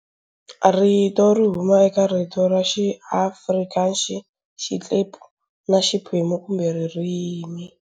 Rito"ri huma eka rito ra xiAfrikaxi, "xitlepu", na", "xiphemu" kumbe"ririmi".